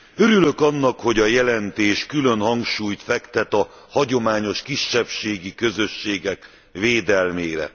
Örülök annak, hogy a jelentés külön hangsúlyt fektet a hagyományos kisebbségi közösségek védelmére.